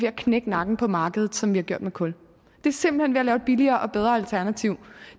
at knække nakken på markedet som vi har gjort med kul det er simpelt at lave et billigere og bedre alternativ